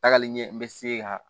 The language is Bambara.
Tagali ɲɛ bɛ se ka